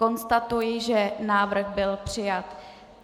Konstatuji, že návrh byl přijat.